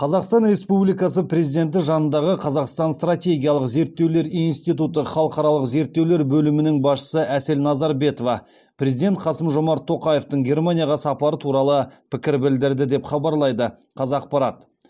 қазақстан республикасы президенті жанындағы қазақстан стратегиялық зерттеулер институты халықаралық зерттеулер бөлімінің басшысы әсел назарбетова президент қасым жомарт тоқаевтың германияға сапары туралы пікір білдірді деп хабарлайды қазақпарат